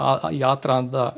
í aðdraganda